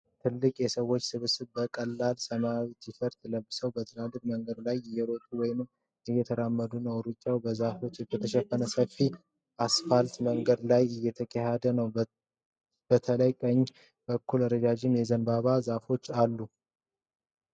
ትልቅ የሰዎች ስብስብ በቀላል ሰማያዊ ቲ-ሸርት ለብሰው በትልቅ መንገድ ላይ እየሮጡ ወይም እየተራመዱ ነው። ሩጫው በዛፍ በተሸፈነ ሰፊ አስፋልት መንገድ ላይ እየተካሄደ ነው። በተለይ በቀኝ በኩል ረዣዥም የዘንባባ ዛፎች አሉ።